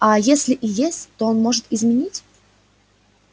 а если и есть то он может изменить